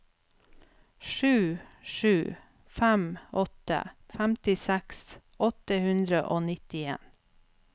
sju sju fem åtte femtiseks åtte hundre og nittien